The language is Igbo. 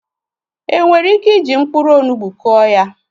E nwere ike iji mkpụrụ onugbu Kụọ ya?